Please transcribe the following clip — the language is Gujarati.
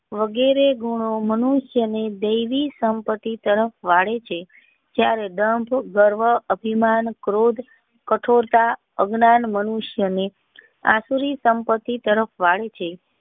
વગેરે ગુનો મનુષ્ય ને દેવી સંપત્તિ તરફ વળે છે ત્યારે ગંધ ગર્વ અભિમાન ક્રોધ કઠોરતા અજ્ઞાન મનુષ્ય ને આકરી સંપત્તિ તરફ વાળે છે.